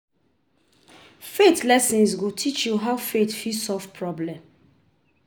Faith lessons go teach you how faith fit solve problem